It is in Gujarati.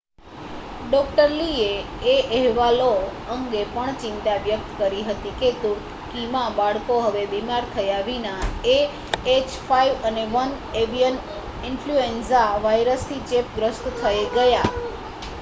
ડૉ. લીએ એ અહેવાલો અંગે પણ ચિંતા વ્યક્ત કરી હતી કે તુર્કીમાં બાળકો હવે બીમાર થયા વિના એએચ5એન1 એવિયન ઇન્ફલ્યુએન્ઝા વાયરસથી ચેપગ્રસ્ત થઈ ગયા